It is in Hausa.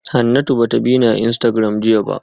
Hanatu ba ta bi ni a Instagram jiya ba